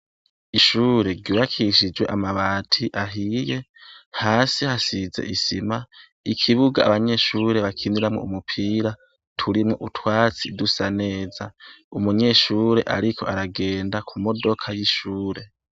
Ishure ryubakishije amabati ahiye, hasi hasize isima, ikibuga abanyeshure bakiniramwo umupira turimwo utwatsi dusa neza. Umunyeshure ariko aragenda ku modoka y'ishure.